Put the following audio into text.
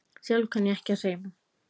Sjálf kann ég ekki að sauma.